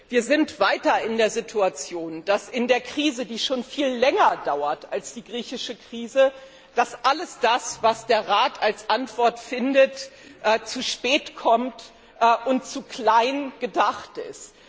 Wir sind weiter in der Situation, dass in der Krise, die schon viel länger dauert als die griechische Krise, dass alles das, was der Rat als Antwort findet, zu spät kommt und zu klein gedacht ist.